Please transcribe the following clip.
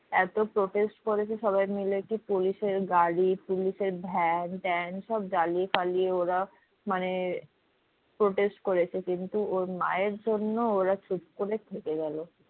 এত protest করেছে সবাই মিলে কি পুলিশের গাড়ি পুলিশের ভ্যান ট্যান সব জ্বালিয়ে ফালিয়ে ওরা মানে protest করেছে কিন্তু ওর মায়ের জন্য ওরা চুপ করে থেকে গেলো।